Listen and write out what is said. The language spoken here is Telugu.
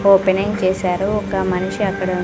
ఓపెనింగ్ చేశారు ఒక మనిషి అక్కడ--